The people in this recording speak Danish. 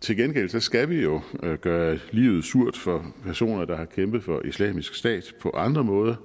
til gengæld skal vi jo gøre livet surt for personer der har kæmpet for islamisk stat på andre måder